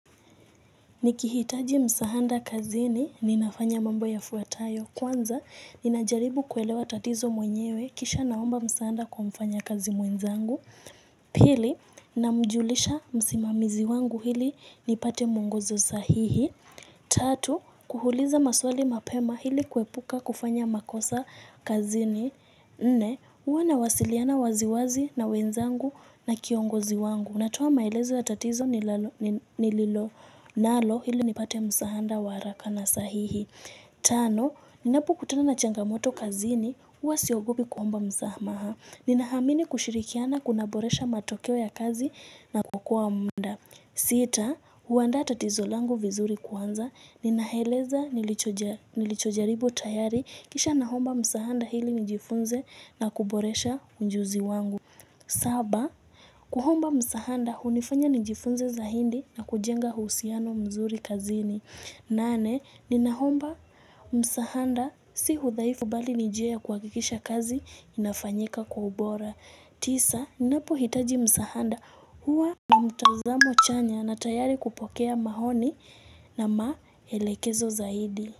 Nikihitaji msaada kazini, ninafanya mambo yafuatayo. Kwanza, ninajaribu kuelewa tatizo mwenyewe, kisha naomba msaada kwa mfanya kazi mwenzangu. Pili, namjulisha msimamizi wangu ili nipate muongozo sahihi. Tatu, kuuliza maswali mapema ili kuepuka kufanya makosa kazini. Nne, huwa nawasiliana waziwazi na wenzangu na kiongozi wangu. Natoa maelezo ya tatizo nililo. Nalo ili nipate msaada wa haraka na sahihi Tano, ninapokutana na changamoto kazini huwa siogopi kuomba msahamaha Ninaamini kushirikiana kuna boresha matokeo ya kazi na kuokoa muda Sita, huandaa tatizo langu vizuri kwanza Ninaeleza nilichojaribu tayari Kisha naomba msaada ili nijifunze na kuboresha ujuzi wangu Saba, kuomba msaada hunifanya nijifunze zaidi na kujenga uhusiano mzuri kazini nane, ninaomba msaada Si udhaifu bali ni njia kuhakikisha kazi inafanyika kwa ubora tisa, ninapohitaji msaada huwa na mtazamo chanya na tayari kupokea maoni na maelekezo zaidi.